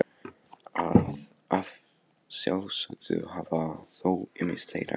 Að sjálfsögðu hafa þó ýmis þeirra glatast.